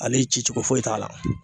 Ale ci cogo foyi t'a la.